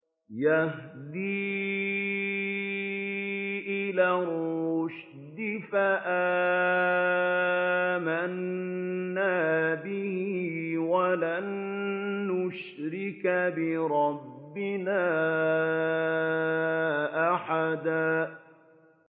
يَهْدِي إِلَى الرُّشْدِ فَآمَنَّا بِهِ ۖ وَلَن نُّشْرِكَ بِرَبِّنَا أَحَدًا